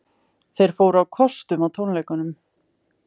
Þeir fóru á kostum á tónleikunum